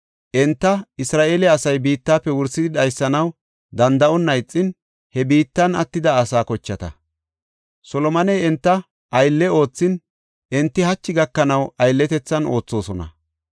Enti Isra7eele asay biittafe wursidi dhaysanaw danda7onna ixin he biittan attida asaa kochata. Solomoney enta aylle oothin, enti hachi gakanaw aylletethan oothosona.